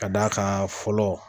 Ka d'a kan fɔlɔ.